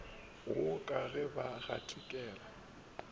wo ka ge ba gatikela